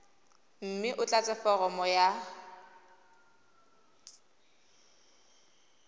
mme o tlatse foromo ya